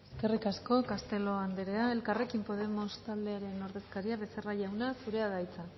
eskerik asko castelo andrea elkarrekin podemos taldearen ordezkaria becerra jauna zurea da hitza